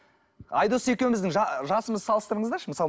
айдос екеуміздің жасымызды салыстырыңыздаршы мысалы